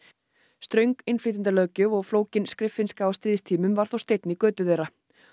ströng innflytjendalöggjöf og flókin skriffinnska á stríðstímum var þó steinn í götu þeirra